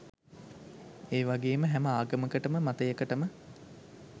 ඒවගේම හැම ආගමකටම මතයකටම